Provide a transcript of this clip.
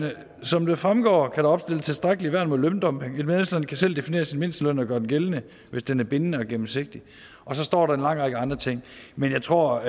som det fremgår kan der opstilles tilstrækkelige værn mod løndumping et medlemsland kan selv definere sin mindsteløn og gøre den gældende hvis den er bindende og gennemsigtig så står der en lang række andre ting men jeg tror